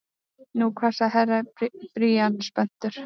Nú hvað sagði Herra Brian spenntur.